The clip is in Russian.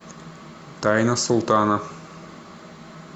тайна султана